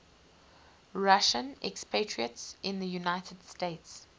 russian expatriates in the united states